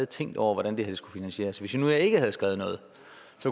tænkt over hvordan det her skulle finansieres hvis vi nu ikke havde skrevet noget